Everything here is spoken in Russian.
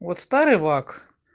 вот старый лак